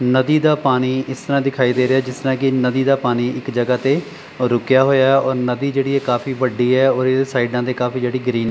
ਨਦੀ ਦਾ ਪਾਣੀ ਇਸ ਤਰ੍ਹਾਂ ਦਿਖਾਈ ਦੇ ਰਿਹਾ ਹੈ ਜਿੱਸ ਤਰ੍ਹਾਂ ਨਦੀ ਦਾ ਪਾਣੀ ਇੱਕ ਜਗ੍ਹਾ ਤੇ ਰੁੱਕਿਆ ਹੋਇਆ ਹੈ ਔਰ ਨਦੀ ਜਿਹੜੀ ਹੈ ਕਾਫੀ ਵੱਡੀ ਹੈ ਔਰ ਇਹਦੇ ਸਾਈਡਾਂ ਤੇ ਕਾਫੀ ਜਿਹੜੀ ਗ੍ਰੀਨ --